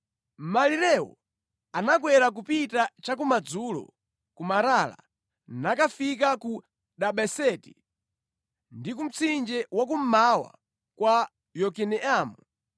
Malirewo anakwera kupita cha kumadzulo ku Marala nakafika ku Dabeseti ndi ku mtsinje wa kummawa kwa Yokineamu.